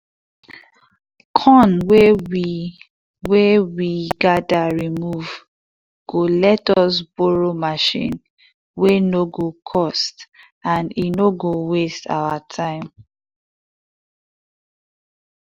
corn wey we wey we gather remove go let us borrow machine wey no go cost and e no go waste our time.